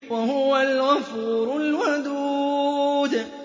وَهُوَ الْغَفُورُ الْوَدُودُ